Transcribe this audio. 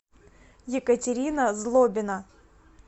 екатерина злобина